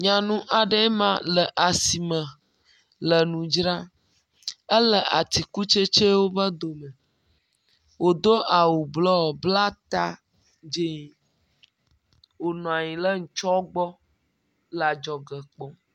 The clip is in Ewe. Nyanu aɖe le asi me le nu dzra, ele atikutsetsewo be dome, wòdo awu blɔ, bla ta dzee, wònɔ anyi le nutsɔ le adzɔge kpɔɔ.